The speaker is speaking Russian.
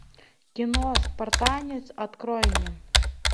кино спартанец открой мне